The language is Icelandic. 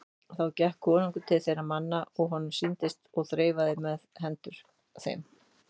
Þá gekk konungur til þeirra manna er honum sýndist og þreifaði um hendur þeim.